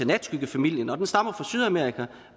natskyggefamilien og den stammer fra sydamerika